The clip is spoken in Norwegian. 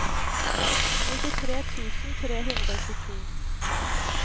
nittitre tusen tre hundre og tjueto